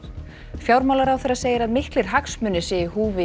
fjármálaráðherra segir að miklir hagsmunir séu í húfi